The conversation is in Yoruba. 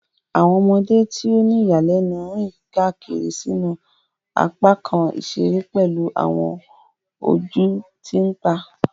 Awọn ọmọde ti o ni iyanilenu rìn kiri sínú apakan iṣere pelu awọn ojú ti npa.